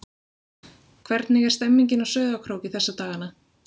Hvernig er stemningin á Sauðárkróki þessa dagana?